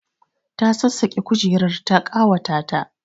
Ta sassaƙe kujerar ta ƙawata ta